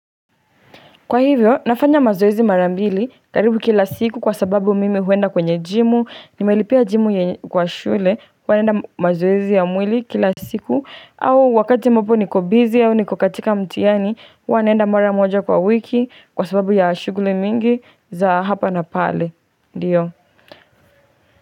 Kwa hivyo, nafanya mazoezi marambili karibu kila siku kwa sababu mimi huenda kwenye jimu, nimelipia jimu kwa shule, wanaenda mazoezi ya mwili kila siku, au wakati mwapo nikobizi au nikokatika mtiani, hunaenda mara moja kwa wiki kwa sababu ya shuguli mingi za hapa na pale, ndiyo.